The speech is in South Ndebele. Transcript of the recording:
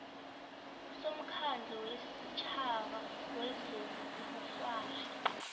somkhandlu wesitjhaba wezobukghwari